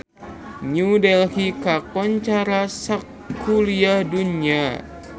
New Delhi kakoncara sakuliah dunya